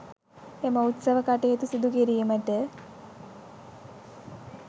එම උත්සව කටයුතු සිදු කිරීමට